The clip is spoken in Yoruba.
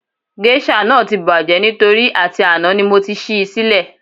Géṣà náà ti bàjẹ́ nítorí àti àná ni mo ti ṣí í sílẹ̀